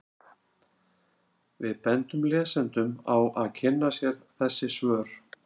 Við bendum lesendum á að kynna sér þessi svör.